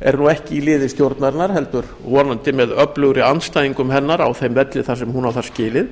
er ekki í liði stjórnarinnar heldur vonandi með öflugri andstæðingum hennar á þeim velli sem hún á það skilið